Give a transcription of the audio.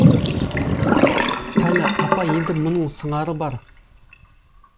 пәлі апа енді мұның сыңары бар